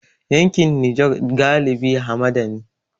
Yankin Nijar galibi hamada ne.